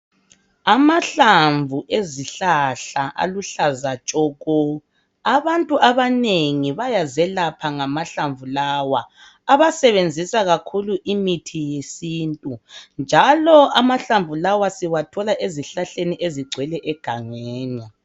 Amahlamvu ezihlalahla aluhlaza tshoko abantu abanengi bayazelapha ngamahlamvu lawa abasebenzisa kakhulu imithi yesintu njalo amahlamvu lawa siwathola ezihlahleni ezigcwele egangeni